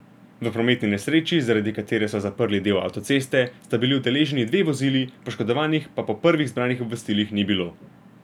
V prometni nesreči, zaradi katere so zaprli del avtoceste, sta bili udeleženi dve vozili, poškodovanih pa po prvih zbranih obvestilih ni bilo.